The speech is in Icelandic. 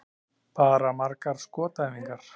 Bara margar skotæfingar.